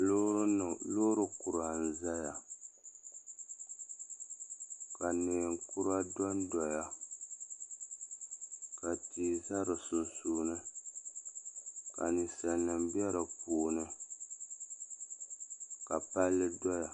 loori kura n-zaya ka neen' kura do n-doya ka tihi za di sunsuuni ka ninsalinima be di puuni ka palli doya